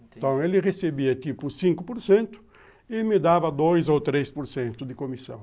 Então, ele recebia tipo cinco por cento e me dava dois ou três por cento de comissão.